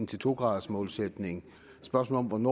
til to gradersmålsætningen spørgsmålet om